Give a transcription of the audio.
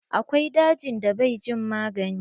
Akwai dajin da bai jin magani.